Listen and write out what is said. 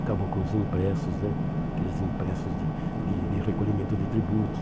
Acabou com os impressos né, aqueles impressos de de de recolhimento de tributos.